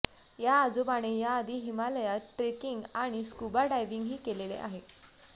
या आजोबाने याआधी हिमालयात ट्रेकिंग आणि स्कूबा डायव्हिंगही केलेले आहे